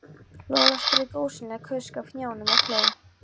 Lolla strauk ósýnilegt kusk af hnjánum og hló.